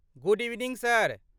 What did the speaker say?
Good evening sir!